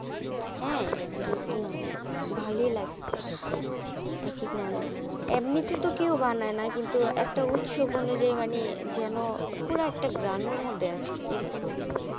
হ্যাঁ, গেসিছিলাম ভালই লাগসে এক এক মানুষ এমনিতে তো কেউ বানায় না কিন্তু একটা উৎসব অনুযায়ী মানে এ যেনো পুরো একটা গ্রামের মধ্যে আছি এরকম মনে হয়.